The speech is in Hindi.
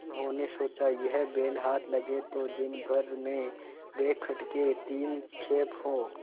उन्होंने सोचा यह बैल हाथ लगे तो दिनभर में बेखटके तीन खेप हों